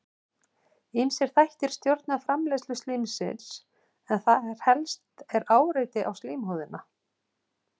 Ýmsir þættir stjórna framleiðslu slímsins en þar helst er áreiti á slímhúðina.